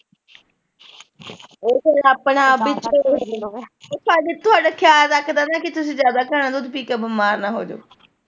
ਇਹ ਸਾਡਾ ਤੁਹਾਡਾ ਖਿਆਲ ਰੱਖਦਾ ਨਾ ਪੀ ਤੁਸੀਂ ਜਿਆਦਾ ਘਣਾ ਦੁੱਧ ਪੀ ਕੇ ਬਿਮਾਰ ਨਾ ਹੋਜੋ।